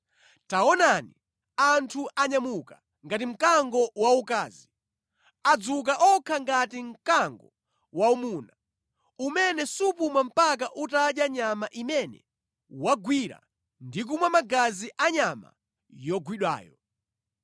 Taonani, anthu anyamuka ngati mkango waukazi; adzuka okha ngati mkango waumuna umene supuma mpaka utadya nyama imene wagwira ndi kumwa magazi a nyama yogwidwayo.”